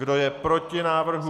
Kdo je proti návrhu?